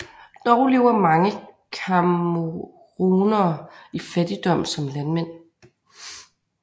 Dog lever mange camerounere i fattigdom som landmænd